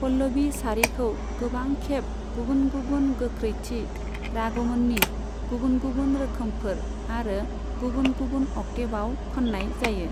पल्लभि सारिखौ गोबां खेब गबुन गुबुन गोगख्रैथि, रागमनि गुबुन गुबुन रोखोमफोर, आरो गुबुन गुबुन अकटेवआव खाननाय जायो।